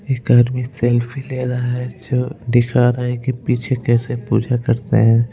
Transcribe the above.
एक आदमी सेल्फी ले रहा है जो दिखा रहा है की पीछे कैसे पूजा करते हैं।